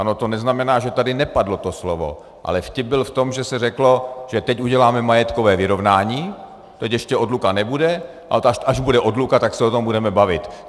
Ano, to neznamená, že tady nepadlo to slovo, ale vtip byl v tom, že se řeklo, že teď uděláme majetkové vyrovnání, teď ještě odluka nebude a až bude odluka, tak se o tom budeme bavit.